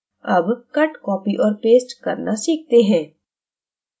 अब cut copy और paste करना सीखते हैं